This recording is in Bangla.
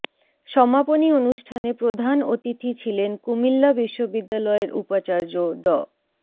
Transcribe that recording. সমাপনী অনুষ্ঠানে প্রধান অতিথি ছিলেন কুমিল্লা বিশ্ববিদ্যালয়ের উপাচার্য ড